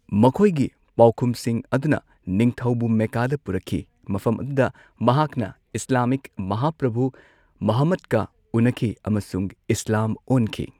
ꯃꯈꯣꯏꯒꯤ ꯄꯥꯎꯈꯨꯝꯁꯤꯡ ꯑꯗꯨꯅ ꯅꯤꯡꯊꯧꯕꯨ ꯃꯦꯀꯥꯗ ꯄꯨꯔꯛꯈꯤ, ꯃꯐꯝ ꯑꯗꯨꯗ ꯃꯍꯥꯛꯅ ꯏꯁꯂꯥꯃꯤꯛ ꯃꯍꯥꯄ꯭ꯔꯚꯨ ꯃꯨꯍꯝꯃꯗꯀ ꯎꯟꯅꯈꯤ ꯑꯃꯁꯨꯡ ꯏꯁꯂꯥꯝ ꯑꯣꯟꯈꯤ꯫